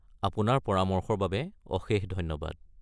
আপোনাৰ পৰামৰ্শৰ বাবে অশেষ ধন্যবাদ।